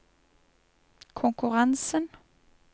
konkurransen